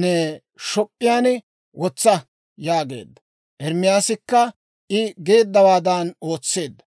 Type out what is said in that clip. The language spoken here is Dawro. ne shop'p'iyaan wotsa» yaageedda. Ermaasikka I geeddawaadan ootseedda.